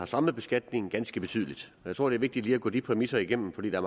strammet beskatningen ganske betydeligt jeg tror det er vigtigt lige at gå de præmisser igennem fordi der